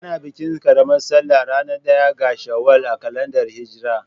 Ana bikin ƙaramar salla ranar ɗaya ga Shawwal a kalandar hijra.